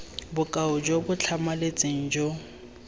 bokao jo bo tlhamaletseng jo